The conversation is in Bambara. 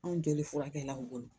Anw jɔlen furakɛli la u bolo